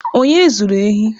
Onye zuru ehi?